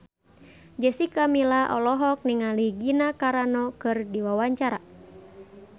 Jessica Milla olohok ningali Gina Carano keur diwawancara